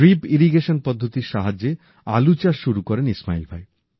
drip irrigation পদ্ধতির সাহায্যে আলু চাষ শুরু করেন ইসমাইল ভাই